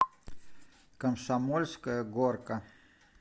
комсомольская горка